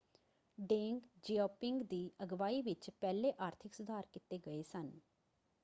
ਡੇਂਗ Xiaoping ਦੀ ਅਗਵਾਈ ਵਿੱਚ ਪਹਿਲੇ ਆਰਥਿਕ ਸੁਧਾਰ ਕੀਤੇ ਗਏ ਸਨ।